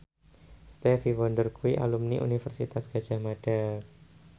Stevie Wonder kuwi alumni Universitas Gadjah Mada